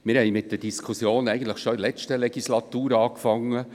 Wir hatten mit der Diskussion eigentlich schon in der letzten Legislatur angefangen.